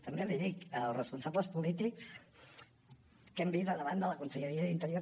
també l’hi dic els responsables polítics que hem vist al davant de la conselleria d’interior